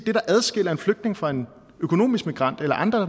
set adskiller en flygtning fra en økonomisk migrant eller andre